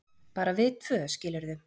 bara við tvö, skilurðu.